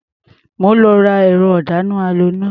Mò ń lọ ra ẹ̀rọ-ìdáná-aloná.